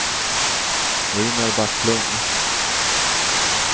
Ejnar Backlund